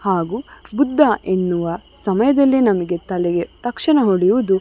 ಹಾಗು ಬುದ್ಧ ಎನ್ನುವ ಸಮಯದಲ್ಲಿ ನಮಗೆ ತಲೆಗೆ ತಕ್ಷಣ ಹೊಳೆಯದು --